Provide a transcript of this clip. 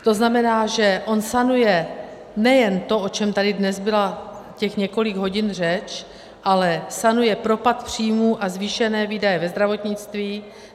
To znamená, že on sanuje nejen to, o čem tady dnes byla těch několik hodin řeč, ale sanuje propad příjmů a zvýšené výdaje ve zdravotnictví.